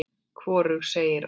Hvorug segir orð.